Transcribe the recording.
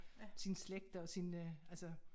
Sin slægt og sin øh altså